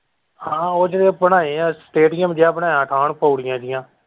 ਹਾਂ ਉਹ ਜਿਹੜੇ ਬਣਾਏ ਹੈ stadium ਜਿਹਾ ਬਣਾਇਆ ਬਾਹਰ ਪੋੜੀਆਂ ਜਿਹੀਆਂ।